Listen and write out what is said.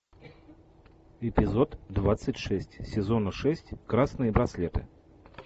эпизод двадцать шесть сезона шесть красные браслеты